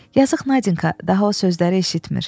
Yazıq Nadinka daha o sözləri eşitmir.